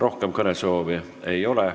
Rohkem kõnesoove ei ole.